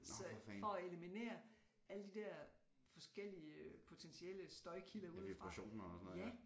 Så for at eliminere alle de der forskellige potentielle støjkilder udefra ja